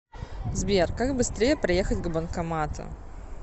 сбер как быстрее проехать к банкомату